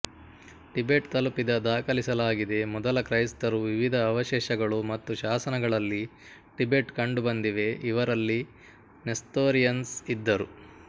Tibet ತಲುಪಿದ ದಾಖಲಿಸಲಾಗಿದೆ ಮೊದಲ ಕ್ರೈಸ್ತರು ವಿವಿಧ ಅವಶೇಷಗಳು ಮತ್ತು ಶಾಸನಗಳಲ್ಲಿ ಟಿಬೆಟ್ ಕಂಡುಬಂದಿವೆ ಇವರಲ್ಲಿ ನೆಸ್ತೊರಿಅನ್ಸ್ ಇದ್ದರು